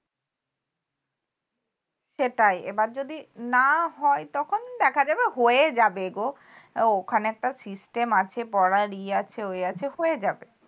সেটাই এবার যদি না হয় তখন দেখা যাবে হয়ে যাবে গো ওখানে একটা system আছে পড়ার ইয়ে আছে ওই আছে হয়ে যাবে